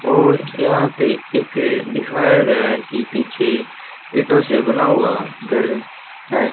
और यहां पे एक दिखाया गया है कि पीछे ईंटो से बना हुआ घर है।